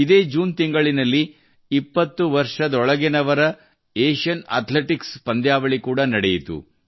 ಇದೇ ಜೂನ್ ತಿಂಗಳಿನಲ್ಲಿ ಇಪ್ಪತ್ತು ವರ್ಷದೊಳಗಿನವರ ಏಷ್ಯನ್ ಅಥ್ಲೆಟಿಕ್ಸ್ ಪಂದ್ಯಾವಳಿ ಕೂಡಾ ನಡೆಯಿತು